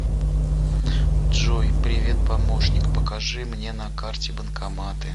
джой привет помощник покажи мне на карте банкоматы